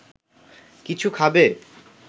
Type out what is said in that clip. কিছু খাবে